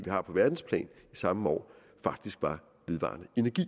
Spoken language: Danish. har på verdensplan i samme år faktisk var vedvarende energi